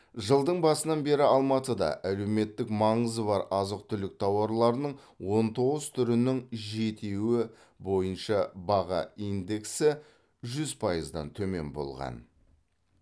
жылдың басынан бері алматыда әлеуметтік маңызы бар азық түлік тауарларының он тоғыз түрінің жетеуі бойынша баға индексі жүз пайыздан төмен болған